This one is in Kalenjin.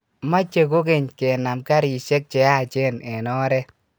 meche kogeny, keneem karishek cheyachen eng oret